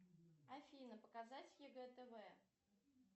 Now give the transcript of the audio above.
афина показать егэ тв